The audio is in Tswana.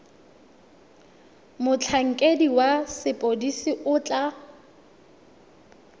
motlhankedi wa sepodisi o tla